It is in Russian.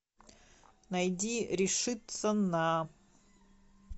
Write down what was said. найди решиться на